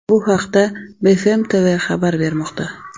Bu haqda BFMTV xabar bermoqda .